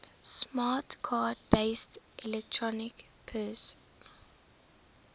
smart card based electronic purse